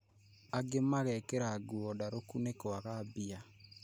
Angĩ mageekĩra nguo ndarũku nĩkwaga mbia